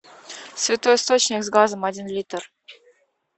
святой источник с газом один литр